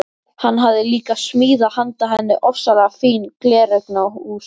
Hann hafði líka smíðað handa henni ofsalega fín gleraugnahús.